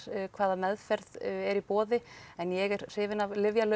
hvaða meðferð er í boði en ég er hrifin af